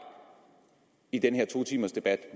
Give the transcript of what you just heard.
i den her to timers debat